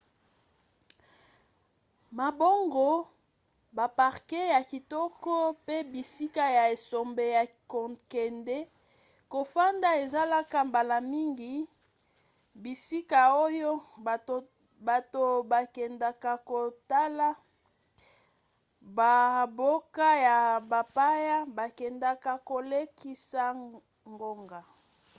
mabongo baparke ya kitoko pe bisika ya esobe ya kokende kofanda ezalaka mbala mingi bisika oyo bato bakendaka kotala bamboka ya bapaya bakendaka kolekisa ngonga